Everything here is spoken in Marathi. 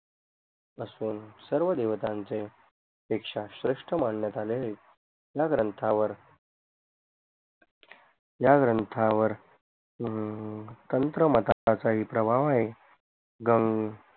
असून सर्व देवतांचे पेक्षा श्रेष्ठ मानण्यात आले आहेत या ग्रंथावर या ग्रंथावर हम्म तंत्र मताचा काही प्रभाव आहे गं